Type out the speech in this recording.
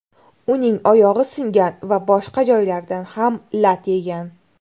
Uning oyog‘i singan va boshqa joylaridan ham lat yegan.